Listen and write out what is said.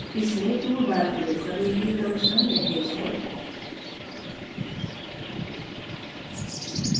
इसमें tool bar प्रयोग करने के क्रमशः निर्देश हैं